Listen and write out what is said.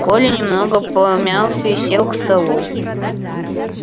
коля немного помялся и сел к столу